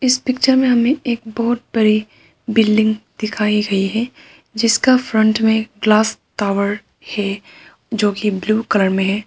इस पिक्चर में हमें एक बहुत बड़ी बिल्डिंग दिखाई गई है जिसका फ्रंट में ग्लास टावर है जो की ब्लू कलर में है।